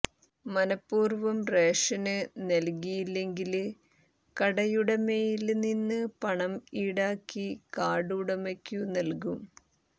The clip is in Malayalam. മനപൂര്വം റേഷന് നല്കിയില്ലെങ്കില് കടയുടമയില് നിന്ന് പണം ഈടാക്കി കാര്ഡ് ഉടമയ്ക്കു നല്കും